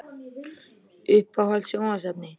Uppáhalds sjónvarpsefni?